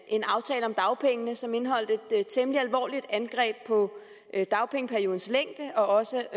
en aftale om dagpengene som indeholdt et temmelig alvorligt angreb på dagpengeperiodens længde og også